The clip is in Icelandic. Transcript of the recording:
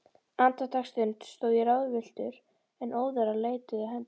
Andartaksstund stóð ég ráðvilltur, en óðara leituðu hendur